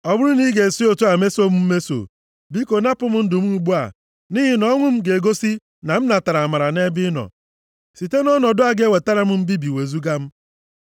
Ọ bụrụ na ị ga-esi otu a meso m mmeso, biko napụ m ndụ m ugbu a, nʼihi na ọnwụ m ga-egosi na m natara amara nʼebe ị nọ. Site nʼọnọdụ a ga-ewetara m mbibi wezuga m.”